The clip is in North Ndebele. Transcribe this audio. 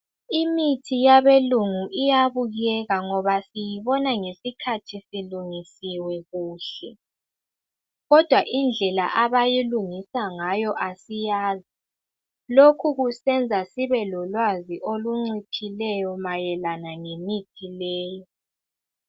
Imithi yabeLungu iyabukeka ngoba siyibona ngesikhathi isilungisiwe kuhle. kodwa indlela abayilungisa ngayo asiyazi. Lokhu kusenza sibelolwazi olunciphileyo mayelana ngemithi leyi.